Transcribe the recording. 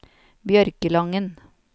Bjørkelangen